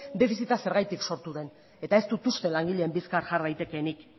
defizita zergatik sortu den ez du uste langileen bizkar jar daitekeenik